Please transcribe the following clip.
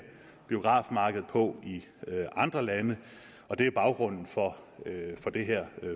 biografmarkedet på i andre lande det er baggrunden for det her